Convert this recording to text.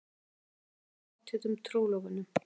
Stundum dró að pottþéttum trúlofunum.